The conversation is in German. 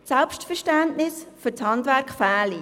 Das Selbstverständnis für das Handwerk fehle.